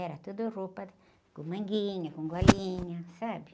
Era tuda roupa com manguinha, com golinha, sabe?